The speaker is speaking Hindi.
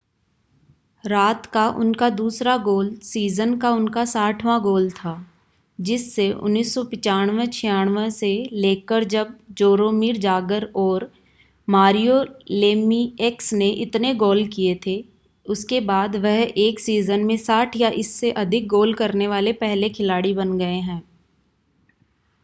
रात का उनका दूसरा गोल सीज़न का उनका 60वां गोल था जिससे 1995-96 से लेकरजब जोरोमिर जागर और मारियो लेमिएक्स ने इतने गोल किए थे उसके बाद वह एक सीज़न में 60 या इससे अधिक गोल करने वाले पहले खिलाड़ी बन गए हैं